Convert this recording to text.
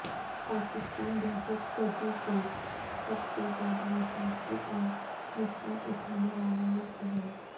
پاکستان دھشت گردی سے سب سے زیادہ متاثر اور نقصان اٹھانے والا ملک ھے